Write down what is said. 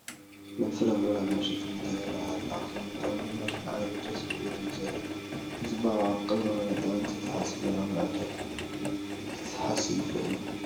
ናይ ፍረ ምረ መሸጢ ቦታ ይርአ ኣሎ፡፡ ኣቀማምጦኦም ድማ ንዓይኒ ደስ ዝብል እዩ ዘሎ፡፡ ብፅባቐ ኣቀማምጣ ሰብ እንተይሓሰቦ ናብ ምዕዳግ ክስሓብ ይኽእል እዩ፡፡